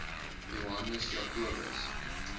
johannes jacobus